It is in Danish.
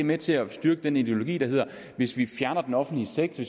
med til at styrke den ideologi der hedder at hvis vi fjerner den offentlige sektor